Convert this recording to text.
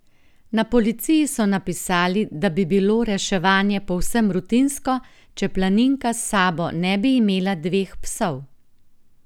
Na policiji so napisali, da bi bilo reševanje povsem rutinsko, če planinka s sabo ne bi imela dveh psov.